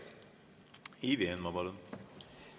Ivi Eenmaa, palun!